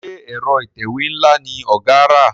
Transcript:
Ṣe Ẹ̀rọ ìtẹ̀wé nla ní ọgá rà?